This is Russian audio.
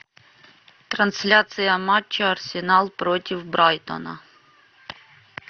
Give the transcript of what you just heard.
трансляция матча арсенал против брайтона